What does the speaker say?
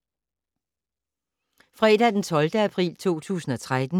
Fredag d. 12. april 2013